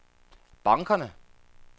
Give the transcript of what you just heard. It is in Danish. bankerne